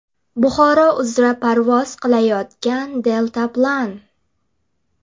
Buxoro uzra parvoz qilayotgan deltaplan.